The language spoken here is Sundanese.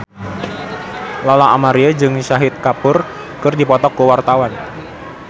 Lola Amaria jeung Shahid Kapoor keur dipoto ku wartawan